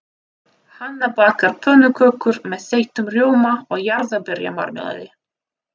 Hanna bakar pönnukökur með þeyttum rjóma og jarðarberjamarmelaði.